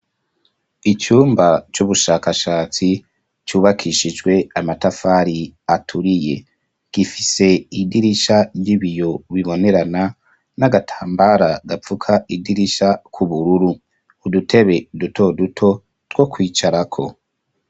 Icumba c'ubushakashatsi cubakishijwe amatafari aturiye. Gifise idirisha ry'ibiyo bibonerana n'agatambara gapfuka idirisha k'ubururu. Udutebe dutoduto two kwicarako.